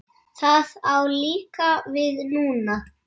Það á líka við núna.